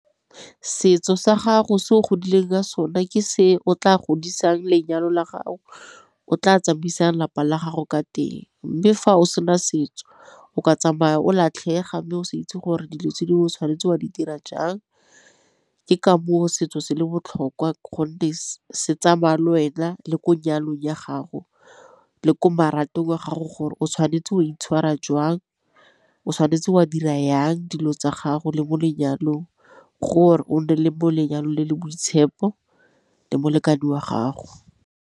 Setso sa gago se o godileng ka sone ke se o tla godisang lenyalo la gago o tla tsamaisang lapa la gago ka teng. Mme fa o sena setso o ka tsamaya o latlhega mme o se itse gore dilo tse dingwe o tshwanetse wa di dira jang, ke ka moo setso se le botlhokwa gonne se tsamaya lwena le ko nyalong ya gago le ko marapong a gago gore o tshwanetse o itshwara jwang o tshwanetse wa dira jang dilo tsa gago le mo lenyalong gore o nne le bo lenyalo le le boitshepo le molekane wa gago.